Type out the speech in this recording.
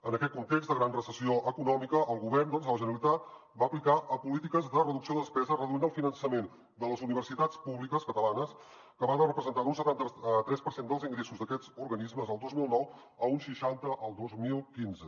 en aquest context de gran recessió econòmica el govern de la generalitat va aplicar polítiques de reducció de despesa reduint el finançament de les universitats públiques catalanes que va de representar d’un setanta tres per cent dels ingressos d’aquests organismes el dos mil nou a un seixanta el dos mil quinze